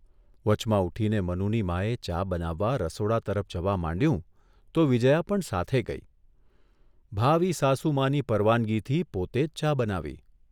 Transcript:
વચમાં ઊઠીને મનુની માએ ચા બનાવવા રસોડા તરફ જવા માંડ્યું તો વિજ્યા પણ સાથે ગઇ, ભાવિ સાસુમાની પરવાનગીથી પોતે જ ચા બનાવી.